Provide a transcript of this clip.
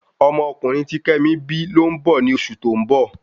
Ọmọ ọkunrin ti kemi bi lo n bọ ni osu to n bọ